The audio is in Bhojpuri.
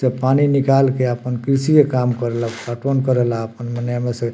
जब पानी निकाल के आपन कृषी काम करेला पटवन करेला आपन मने ऐ में से --